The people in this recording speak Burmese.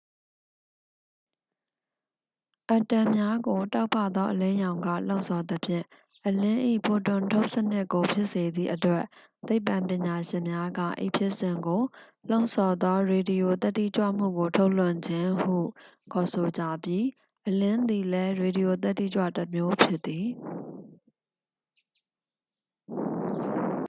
"အက်တမ်များကို တောက်ပသော အလင်းရောင်က လှုံ့ဆော်သဖြင့် အလင်း၏ ဖိုတွန်ထုတ်လွှတ်မှုကို ဖြစ်စေသည့်အတွက် သိပ္ပံပညာရှင်များက ဤဖြစ်စဉ်ကို "လှုံ့ဆော်သော ရေဒီယိုသတ္တိကြွမှုကို ထုတ်လွှတ်ခြင်း" ဟု ခေါ်ဆိုကြပြီး အလင်းသည်လည်း ရေဒီယိုသတ္တိကြွမှုတစ်မျိုးဖြစ်သည်။